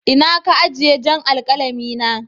Inna ka ajie jan' alkalami na?